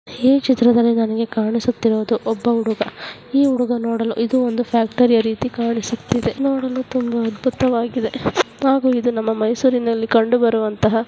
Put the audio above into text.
ಈ ಚಿತ್ರದಲ್ಲಿ ನನಗೆ ಕಾಣಿಸುತ್ತಿರುವುದು ಒಬ್ಬ ಹುಡುಗ ಈ ಹುಡುಗ ನೋಡಲು ಇದು ಒಂದು ಫ್ಯಾಕ್ಟರಿಯ ರೀತಿ ಕಾಣಿಸುತ್ತಿದೆ. ನೋಡಲು ತುಂಬಾ ಅದ್ಭುತವಾಗಿದೆ ಹಾಗೂ ಇದು ನಮ್ಮ ಮೈಸೂರಿನಲ್ಲಿ ಕಂಡುಬರುವಂತಹ --